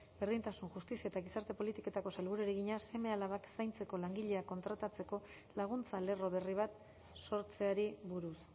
berdintasun justizia eta gizarte politiketako sailburuari egina seme alabak zaintzeko langileak kontratatzeko laguntza lerro berri bat sortzeari buruz